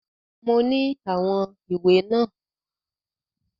Mo ní àwọn ìwé náà.